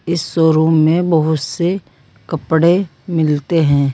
इस शोरूम में बहोत से कपड़े मिलते हैं।